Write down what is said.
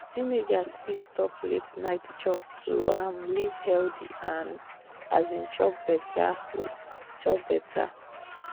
teenagers fit stop late-night chop to um live healthy and um chop better. um chop better.